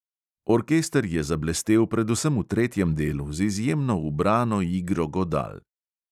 Orkester je zablestel predvsem v tretjem delu z izjemno ubrano igro godal.